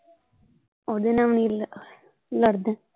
ਉਹਦੇ ਨਾਲ ਵੀ ਨਹੀਂ ਲੜਦਾ।